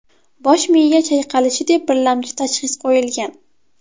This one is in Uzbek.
Bosh miya chayqalishi deb birlamchi tashxis qo‘yilgan.